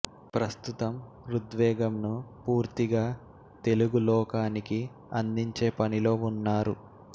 ప్రస్తుతం ఋగ్వేదంను పూర్తిగా తెలుగు లోకానికి అందించే పనిలో వున్నారు